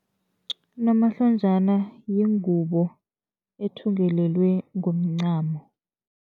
Unomahlonjana yingubo ethungelelwe ngomncamo.